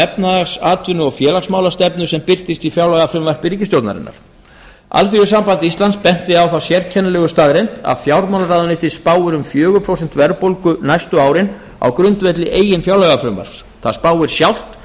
efnahags atvinnu og félagsmálastefnu sem birtist í fjárlagafrumvarpi ríkisstjórnarinnar así benti á þá sérkennilegu staðreynd að fjármálaráðuneytið spái um fjögur prósent verðbólgu næstu árin á grundvelli eigin fjárlagafrumvarps það spái sjálft